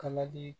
Kala di